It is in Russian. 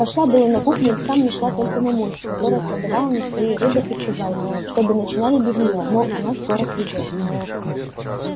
пошла было на кухню но там нашла только мамульку которая колдовала над своей рыбой и сказала чтобы начинали без нее мол она скоро придёт